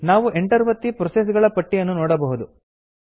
ನಾವು ಎಂಟರ್ ಒತ್ತಿ ಪ್ರೋಸೆಸ್ ಗಳ ಪಟ್ಟಿಯನ್ನು ನೋಡಬಹುದು